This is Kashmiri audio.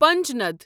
پنجناد